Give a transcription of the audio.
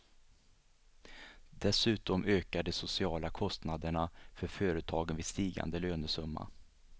Dessutom ökar de sociala kostnaderna för företagen vid stigande lönesumma.